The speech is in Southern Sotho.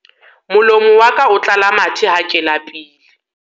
molomo wa ka o tlala mathe ha ke lapile